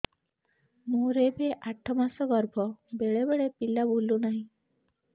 ମୋର ଏବେ ଆଠ ମାସ ଗର୍ଭ ବେଳେ ବେଳେ ପିଲା ବୁଲୁ ନାହିଁ